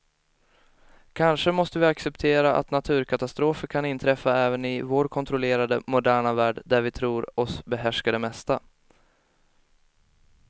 Kanske måste vi acceptera att naturkatastrofer kan inträffa även i vår kontrollerade, moderna värld där vi tror oss behärska det mesta.